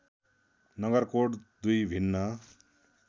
नगरकोट दुई भिन्न